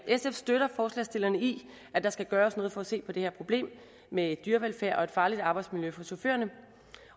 sf støtter forslagsstillerne i at der skal gøres noget for at se på det her problem med dyrevelfærd og et farligt arbejdsmiljø for chaufførerne